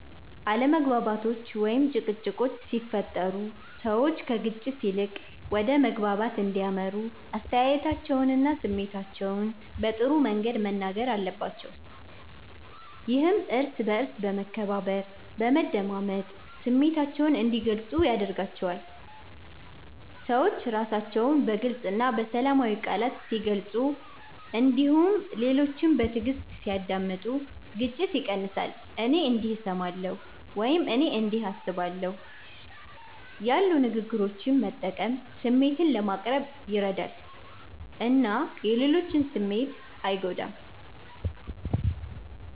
አለመግባባቶች ወይም ጭቅጭቆች ሲፈጠሩ ሰዎች ከግጭት ይልቅ ወደ መግባባት እንዲያመሩ አስተያየታቸውንና ስሜታቸውን በጥሩ መንገድ መናገር አለባቸው። ይህም እርስ በእርስ በመከባበር፣ በመደማመጥ ስሜታቸውን እንዲገልጹ ያደርጋቸዋል። ሰዎች ራሳቸውን በግልፅ እና በሰላማዊ ቃላት ሲገልጹ እንዲሁም ሌሎችን በትዕግስት ሲያዳምጡ ግጭት ይቀንሳል። “እኔ እንዲህ እሰማለሁ” ወይም “እኔ እንዲህ አስባለሁ” ያሉ ንግግሮችን መጠቀም ስሜትን ለማቅረብ ይረዳል እና የሌሎችን ስሜት አይጎዳም።